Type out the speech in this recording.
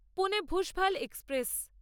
Pune Bhusawal express